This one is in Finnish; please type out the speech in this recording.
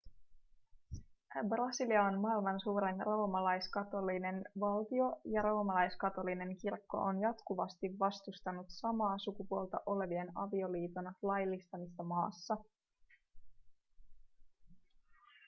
brasilia on maailman suurin roomalaiskatolinen valtio ja roomalaiskatolinen kirkko on jatkuvasti vastustanut samaa sukupuolta olevien avioliiton laillistamista maassa